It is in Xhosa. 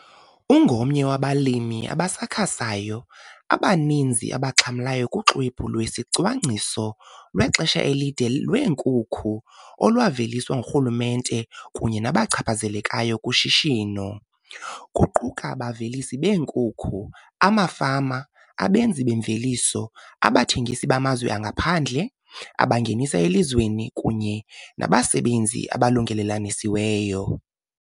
Ungomnye wabalimi abasakhasayo abaninzi abaxhamlayo kuXwebhu lweSicwangciso lweXesha elide lweeNkukhu, olwaveliswa ngurhulumente kunye nabachaphazelekayo kushishino, kuquka abavelisi beenkukhu, amafama, abenzi bemveliso, abathengisi bamazwe angaphandle, abangenisa elizweni kunye nabasebenzi abalungelelanisiweyo.